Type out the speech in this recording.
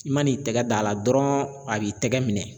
I man'i tɛgɛ d'a la dɔrɔn a b'i tɛgɛ minɛ